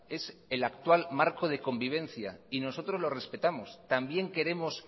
es el actual marco de convivencia y nosotros lo respetamos también queremos